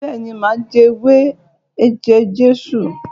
beeni, ma je ewé eje-Jesu